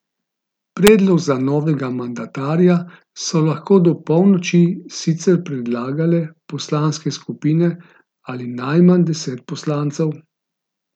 Predlog za novega mandatarja so lahko do polnoči sicer predlagale poslanske skupine ali najmanj deset poslancev.